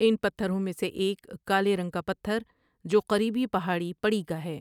ان پتھروں میں سے ایک کالے رنگ کا پتھر جو قریبی پہاڑی پڑی کا ہے ۔